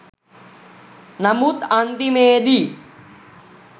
නමුත් අන්තිමේදි